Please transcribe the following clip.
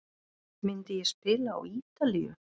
Myndi ég spila á Ítalíu?